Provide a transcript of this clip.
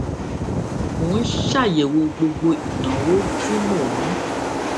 mò ń ṣàyèwò gbogbo ìnáwó tí mò ń